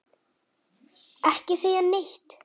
Ekki segja neitt!